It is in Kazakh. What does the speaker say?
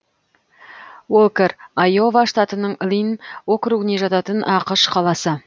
уолкэр айова штатының линн округіне жататын ақш қаласы